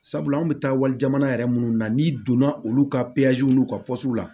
Sabula an bɛ taa wali jamana yɛrɛ munnu na n'i donna olu ka n'u ka la